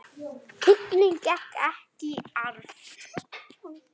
Tignin gekk ekki í arf.